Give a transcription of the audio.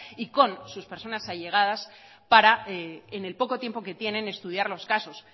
y con sus personas allegadas para en el poco tiempo que tienen estudiar los casos